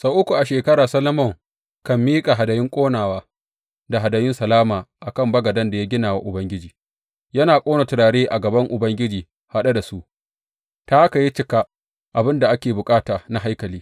Sau uku a shekara Solomon kan miƙa hadayun ƙonawa da hadayun salama a kan bagaden da ya gina wa Ubangiji, yana ƙone turare a gaban Ubangiji haɗe da su, ta haka ya cika abin da ake bukata na haikali.